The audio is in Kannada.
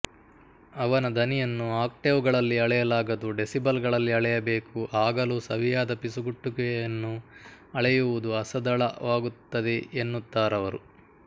ಅವನ ದನಿಯನ್ನು ಆಕ್ಟೇವ್ ಗಳಲ್ಲಿ ಅಳೆಯಲಾಗದು ಡೆಸಿಬಲ್ ಗಳಲ್ಲಿ ಅಳೆಯಬೇಕು ಆಗಲೂ ಸವಿಯಾದ ಪಿಸುಗುಟ್ಟುವಿಕೆಯನ್ನು ಅಳೆಯುವುದು ಅಸದಳವಾಗುತ್ತದೆಎನ್ನುತ್ತಾರವರು